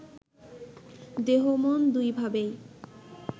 দেহ-মন দুইভাবেই